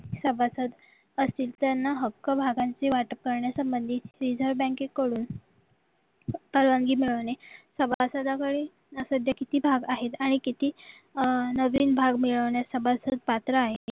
सभासद असतील त्यांना हक्क भागांची वाटप करण्यासंबंधी reserve बँकेकडून परवानगी मिळवणे सभासद कडील सध्या किती भाव आहेत आणि किती नवीन भाग मिळवण्यास सभासद पात्र आहे